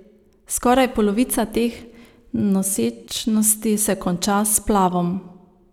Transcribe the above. Skoraj polovica teh nosečnosti se konča s splavom.